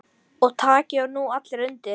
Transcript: Og taki nú allir undir.